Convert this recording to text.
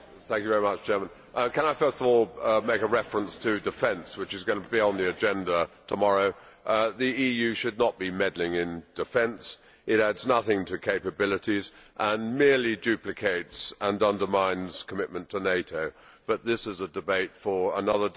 Mr President, can I first of all make a reference to defence, which is going to be on the agenda tomorrow. The EU should not be meddling in defence. It adds nothing to capabilities and merely duplicates and undermines commitment to NATO, but this is a debate for another day.